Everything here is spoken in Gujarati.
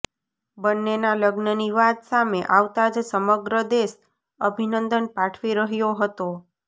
બંનેના લગ્નની વાત સામે આવતા જ સમગ્ર દેશ અભિનંદન પાઠવી રહ્યો હતો